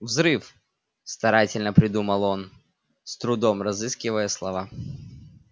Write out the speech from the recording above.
взрыв старательно придумал он с трудом разыскивая слова